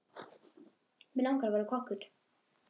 Mig langar að verða kokkur.